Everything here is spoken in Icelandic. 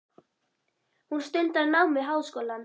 Hún stundar nám við háskólann.